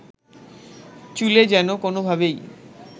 চুলে যেন কোনোভাবেই